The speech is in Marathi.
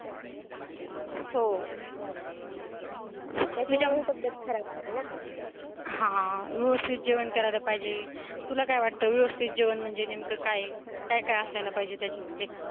हो हेचा मुडच तब्यत खराब होते ना, हा व्यवस्थित जेवण करायला पाहिजे तुला काय वाटतं व्यवस्थित जेवण म्हणजे नेमकं काय काय असायला पाहिजे त्याच्यामध्ये